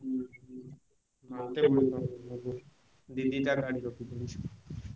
ଉହୁଁ ଦି ଦି ଟା ଗାଡି ରଖିକିରି।